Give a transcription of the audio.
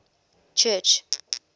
church